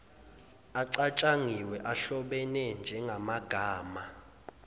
acatshangiwe ahlobene njengamagama